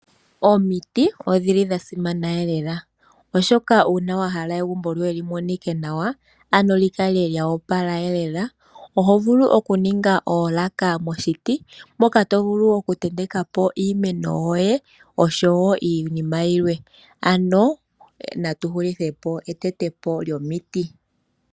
Omiti odhili dha simana lela, oshoka una wa hala egumbo lyoye lyi monika nawa, ano lyi kala lya opala lela, oho vulu oku ninga oolaka moshiti moka to vulu oku tenekapo iimeno yoye oshowo iinima yilwe. Ano natu hulithe po etetepo lyomiti.